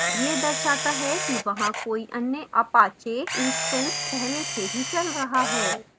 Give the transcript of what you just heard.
यह दर्शाता है कि वहाँ कोई अन्य apache instance पहले से ही चल रहा है